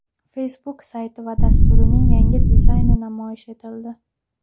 Facebook sayti va dasturining yangi dizayni namoyish etildi.